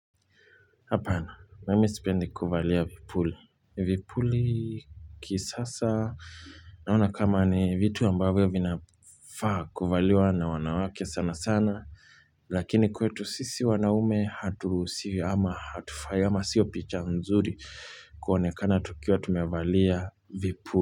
Hapana, mimi sipendi kuvalia vipuli. Vipuli kisasa, naona kama ni vitu ambavyo vinafaa kuvaliwa na wanawake sana sana, lakini kwetu sisi wanaume haturuhusiwi ama hatu fai ama sio picha mzuri kuonekana tukiwa tumevalia vipuli.